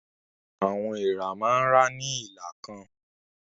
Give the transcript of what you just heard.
Àwọn èèrà máa ń rá ní ìlà kan.